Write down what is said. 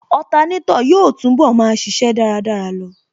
Otanétò yóò túnbọ̀ máa ṣíṣe dáradára lọ